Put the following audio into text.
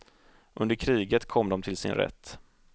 Under kriget kom de till sin rätt.